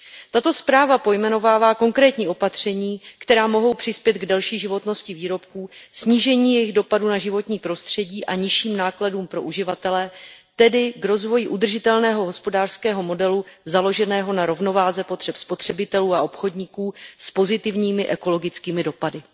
Tato zpráva pojmenovává konkrétní opatření, která mohou přispět k delší životnosti výrobků, snížení jejich dopadu na životní prostředí a nižším nákladům pro uživatele, tedy k rozvoji udržitelného hospodářského modelu založeného na rovnováze potřeb spotřebitelů a obchodníků s pozitivními ekologickými dopady.